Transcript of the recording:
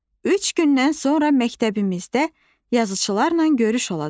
Üç gündən sonra məktəbimizdə yazıçılarla görüş olacaq.